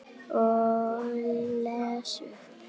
Og les upp.